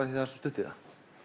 því það er svo stutt í það